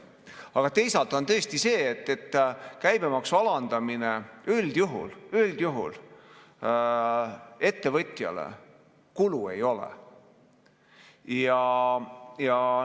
Aga teisalt on tõesti sedasi, et käibemaksu alandamine üldjuhul ettevõtjale kulu ei ole.